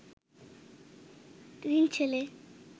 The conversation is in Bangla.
তিন ছেলে